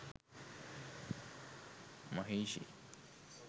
maheshi